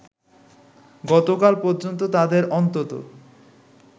গতকাল পর্যন্ত তাদের অন্তত